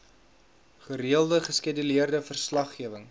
gereelde geskeduleerde verslaggewing